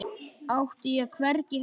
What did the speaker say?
Átti ég hvergi heima?